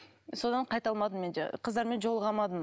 содан қайта алмадым мен де қыздармен жолыға алмадым